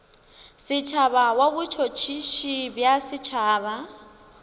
setšhaba wa botšhotšhisi bja setšhaba